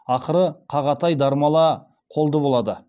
ақыры қағатай дармала қолды болады